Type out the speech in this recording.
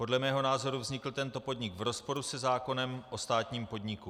Podle mého názoru vznikl tento podnik v rozporu se zákonem o státním podniku.